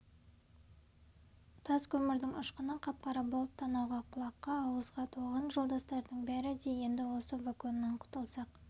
тас көмірдің ұшқыны қап-қара болып танауға құлаққа ауызға толған жолдастардың бәрі де енді осы вагоннан құтылсақ